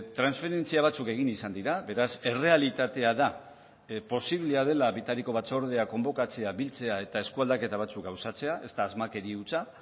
transferentzia batzuk egin izan dira beraz errealitatea da posiblea dela bitariko batzordea konbokatzea biltzea eta eskualdaketa batzuk gauzatzea ez da asmakeria hutsa